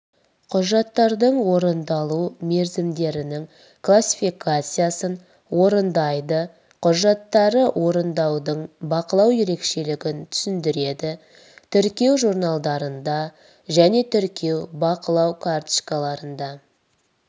құжаттардың орындалу мерзімдерінің классификациясын орындайды құжаттары орындаудың бақылау ерекшелігін түсіндіреді тіркеу журналдарында және тіркеу бақылау карточкаларында